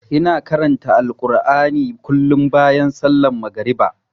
Ina karanta Alkur'ani kullum bayan sallar magariba.